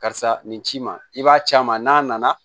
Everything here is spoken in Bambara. Karisa nin ci ma i b'a ci a ma n'a nana